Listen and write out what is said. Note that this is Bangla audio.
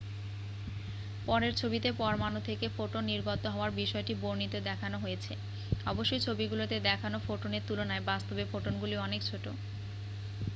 পরের ছবিতে পরমাণু থেকে ফোটন নির্গত হওয়ার বিষয়টি বর্ণিত দেখানো হয়েছে অবশ্যই ছবিগুলিতে দেখানো ফোটনের তুলনায় বাস্তবে ফোটনগুলি অনেক ছোট